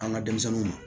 An ka denmisɛnninw